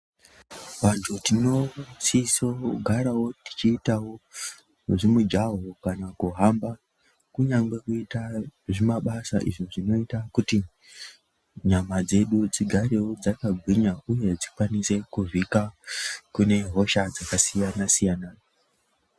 Vantu tinosiso kugarawo tichiita mujaho kana kuhamba. Kunyangwe kuita zvimabasa izvo zvinoita kuti nyama dzedu dzigarewo dzakagwinya uye dzikwanise kuvhika kune hosha dzakasiyana siyana.